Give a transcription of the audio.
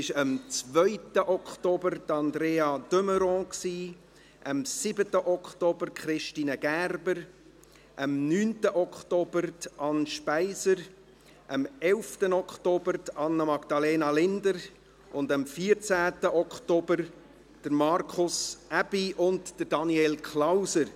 Das waren am 2. Oktober Andrea de Meuron, am 7. Oktober Christine Gerber, am 9. Oktober Anne Speiser, am 11. Oktober Anna-Magdalena Linder und am 14. Oktober Markus Aebi sowie Daniel Klauser.